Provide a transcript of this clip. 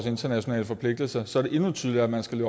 internationale forpligtelser så er det endnu tydeligere at man skal